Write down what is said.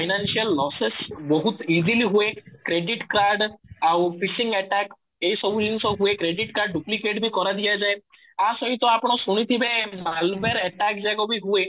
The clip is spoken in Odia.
financial losses ବହୁତ easily ହୁଏ କ୍ରେଡିଟ କାର୍ଡ ଆଉ attack ଏଇ ସବୁ ଜିନିଷ ହୁଏ କ୍ରେଡିଟ କାର୍ଡ duplicate ବି କରାଦିଆଯାଏ ଆ ସହିତ ଆପଣ ଶୋଇଥିବେ malware attack ଯାକ ବି ହୁଏ